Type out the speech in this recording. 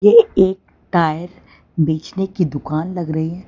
ये एक टायर बेचने की दुकान लग रही--